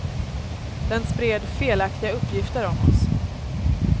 Den spred felaktiga uppgifter om oss.